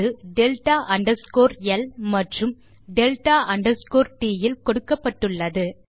அது delta underscore ல் மற்றும் டெல்டா அண்டர்ஸ்கோர் ட் இல் கொடுக்கப்பட்டு உள்ளது